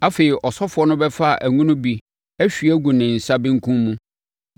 Afei, ɔsɔfoɔ no bɛfa ngo no bi ahwie agu ne nsa benkum mu